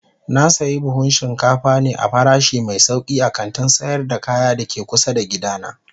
Na sayi buhun shinkafa ne a farashi mai sauki a kantin sayar da kaya da ke kusa da gidana.